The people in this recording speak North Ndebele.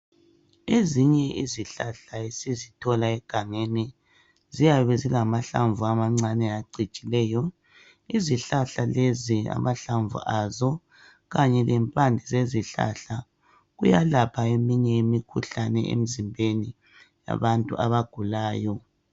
Ezinye izihlahla esizithola egangeni ziyabe zilamahlamvu amancane acijileyo. Izihlahla lezi amahlamvu azo kanye lempande zezihlahla kuyalapha eminye imikhuhlane emizimbeni yabantu abagulayo.